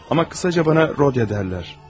Amma qısaca mənə Rodiya deyirlər.